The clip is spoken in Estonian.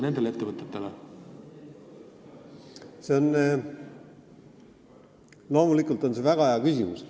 See on loomulikult väga hea küsimus.